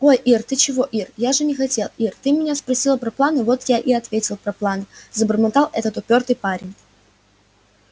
ой ир ты чего ир я же не хотел ир ты меня спросила про планы вот я и ответил про планы забормотал этот упёртый парень